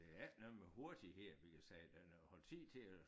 Det ikke noget med hurtighed vi kan sige det noget har tid til at